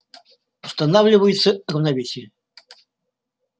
устанавливается равновесие